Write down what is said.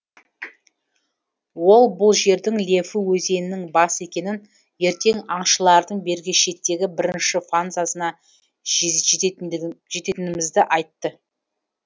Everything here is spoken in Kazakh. ол бұл жердің лефу өзенінің басы екенін ертең аңшылардың бергі шеттегі бірінші фанзасына жететінімізді айтты